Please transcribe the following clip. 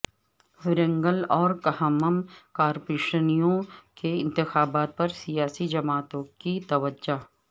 ورنگل اور کھمم کارپوریشنوں کے انتخابات پر سیاسی جماعتوں کی توجہ